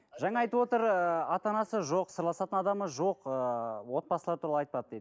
жаңа айтып отыр ыыы ата анасы жоқ сырласатын адамы жоқ ыыы отбасылар туралы айтпады дейді